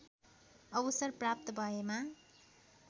अवसर प्राप्त भएमा